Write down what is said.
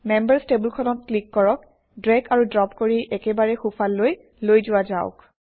members টেবুলখনত click কৰক drag আৰু ড্ৰপ কৰি একেবাৰে সোঁফাললৈ লৈ যোৱা যাওক